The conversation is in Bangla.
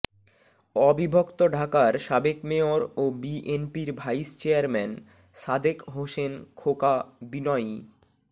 অবিভক্ত ঢাকার সাবেক মেয়র ও বিএনপির ভাইস চেয়ারম্যান সাদেক হোসেন খোকা বিনয়ী